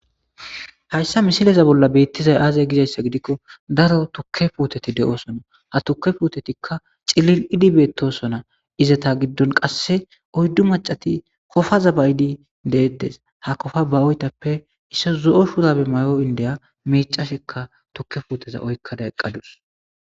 hayssa misileza bolla beettizay aazay gizayssa gidikko daro tukke puuteti de7osona ha tuke puutetikka cilil idibeettosona izata giddon qasse oyddu macati kofaza bayidi deedes ha kofa ba oytappe isso zo7o shurabe may7o indeya miicasikka tukke puuteza oykkada eqqadus